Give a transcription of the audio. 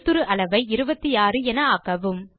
எழுத்துரு அளவை 26 என ஆக்கவும்